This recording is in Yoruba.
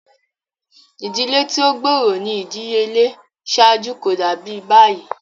Idile ti o gbooro ni idiyele ṣaaju ko dabi bayi.